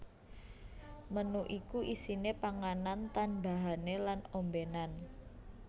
Menu iku isine panganan tanbahane lan ombenan